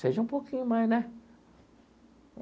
Seja um pouquinho mais, né?